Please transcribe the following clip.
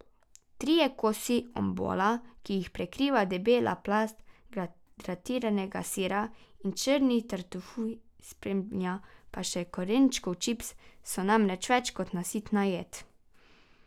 Trije kosi ombola, ki jih prekriva debela plast gratiniranega sira in črni tartufi, spremlja pa še korenčkov čips, so namreč več kot nasitna jed.